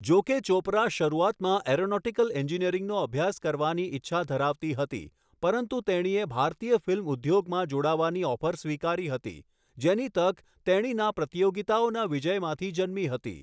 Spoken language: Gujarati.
જો કે ચોપરા શરૂઆતમાં એરોનોટિકલ એન્જિનિયરિંગનો અભ્યાસ કરવાની ઈચ્છા ધરાવતી હતી, પરંતુ તેણીએ ભારતીય ફિલ્મ ઉદ્યોગમાં જોડાવાની ઓફર સ્વીકારી હતી, જેની તક તેણીના પ્રતીયોગીતાઓના વિજયમાંથી જન્મી હતી.